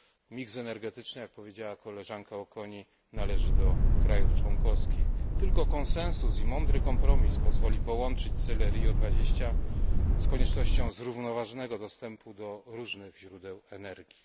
Miks energetyczny, jak powiedziała koleżanka Auconie, należy do krajów członkowskich. Tylko konsensus i mądry kompromis pozwoli połączyć cele Rio20 z koniecznością zrównoważonego dostępu do różnych źródeł energii.